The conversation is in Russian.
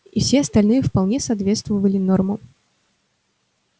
и все остальные вполне соответствовали нормам